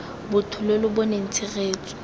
botho lo lo boneng tshegetso